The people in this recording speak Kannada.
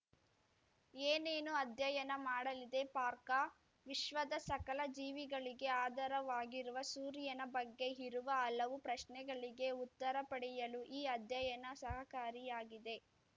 ಏನೇನು ಅಧ್ಯಯನ ಮಾಡಲಿದೆ ಪಾರ್ಕ ವಿಶ್ವದ ಸಕಲ ಜೀವಿಗಳಿಗೆ ಆಧಾರವಾಗಿರುವ ಸೂರ್ಯನ ಬಗ್ಗೆ ಇರುವ ಹಲವು ಪ್ರಶ್ನೆಗಳಿಗೆ ಉತ್ತರ ಪಡೆಯಲು ಈ ಅಧ್ಯಯನ ಸಹಕಾರಿಯಾಗಿದೆ